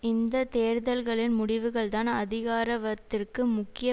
இந்த தேர்தல்களின் முடிவுகள்தான் அதிகாரவத்திற்கு முக்கிய